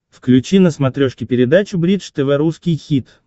включи на смотрешке передачу бридж тв русский хит